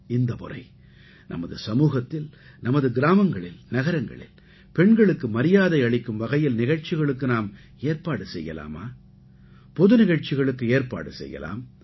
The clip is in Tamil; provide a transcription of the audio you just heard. இந்தமுறை நமது சமூகத்தில் நமது கிராமங்களில் நகரங்களில் பெண்களுக்கு மரியாதை அளிக்கும் வகையில் நிகழ்ச்சிகளுக்கு நாம் ஏற்பாடு செய்யலாமா பொது நிகழ்ச்சிகளுக்கு ஏற்பாடு செய்யலாம்